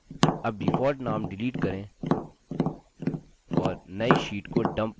अब default name delete करें और now sheet को dump name दें